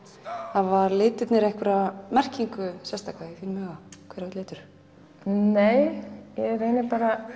hafa litirnir einhverja merkingu sérstaka í þínum huga hver og einn litur nei ég reyni bara